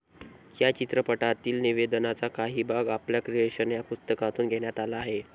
या चित्रपटातील निवेदनाचा काही भाग आपल्या क्रिएशन या पुस्तकातून घेण्यात आला होता.